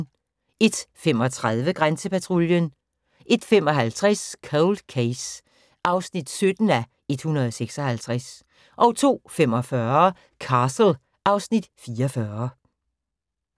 01:35: Grænsepatruljen 01:55: Cold Case (17:156) 02:45: Castle (Afs. 44)